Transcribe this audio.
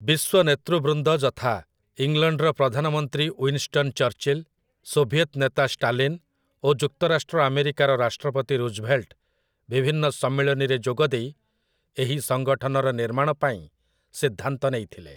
ବିଶ୍ୱ ନେତୃବୃନ୍ଦ ଯଥା, ଇଂଲଣ୍ଡର ପ୍ରଧାନମନ୍ତ୍ରୀ ଉଇନଷ୍ଟନ୍ ଚର୍ଚ୍ଚିଲ୍, ସୋଭିଏତ୍ ନେତା ଷ୍ଟାଲିନ୍ ଓ ଯୁକ୍ତରାଷ୍ଟ୍ର ଆମେରିକାର ରାଷ୍ଟ୍ରପତି ରୁଜଭେଲ୍ଟ ବିଭିନ୍ନ ସମ୍ମିଳନୀରେ ଯୋଗଦେଇ ଏହି ସଂଗଠନର ନିର୍ମାଣ ପାଇଁ ସିଦ୍ଧାନ୍ତ ନେଇଥିଲେ ।